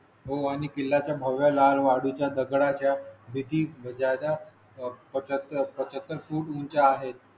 हो आणि किल्ला चा भव्या लाल वाळू च्या दगडा च्या भीती ज्यादा पंचाहत्तर फूट उंची आहेत.